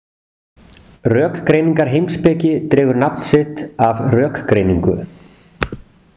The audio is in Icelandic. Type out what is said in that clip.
Rökgreiningarheimspeki dregur nafn sitt af rökgreiningu.